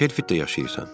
Axı sən Şelfidə yaşayırsan.